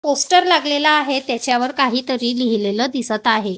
Poster लागलेला आहे त्याच्यावर काहीतरी लिहिलेलं दिसत आहे.